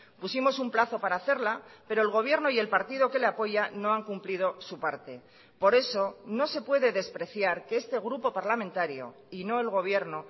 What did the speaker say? pusimos un plazo para hacerla pero el gobierno y el partido que le apoya no han cumplido su parte por eso no se puede despreciar que este grupo parlamentario y no el gobierno